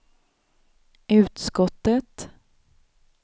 utskottet